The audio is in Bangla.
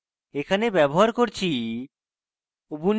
এখানে ব্যবহার করছি: